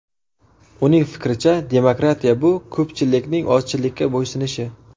Uning fikricha, demokratiya bu ko‘pchilikning ozchilikka bo‘ysunishi.